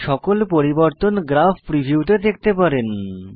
সকল পরিবর্তন graph preview তে দেখতে পারেন